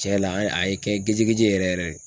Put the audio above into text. Cɛn la a ye n kɛ geje geje yɛrɛ yɛrɛ de.